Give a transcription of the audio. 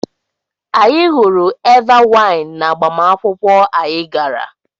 Anyị ṅụrụ Eva waịn n'agbamakwụkwọ anyị gara.